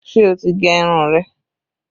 Ṣé o ti gẹ irun rẹ?